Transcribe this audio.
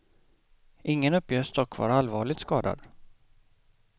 Ingen uppges dock vara allvarligt skadad.